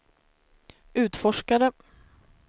utforskare